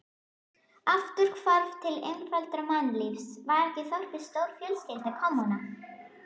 Afturhvarf til einfaldara mannlífs, var ekki þorpið stórfjölskylda, kommúna?